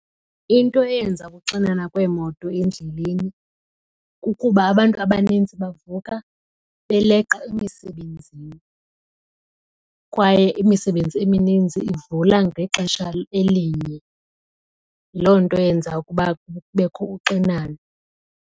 Into eyenza ukuxinana kweemoto endleleni kukuba abantu abaninzi bavuka beleqa emisebenzini kwaye imisebenzi emininzi ivula ngexesha elinye. Yiloo nto eyenza ukuba kubekho uxinano.